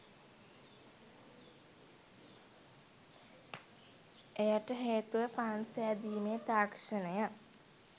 එයට හේතුව පාන් සෑදීමේ තාක්ෂණය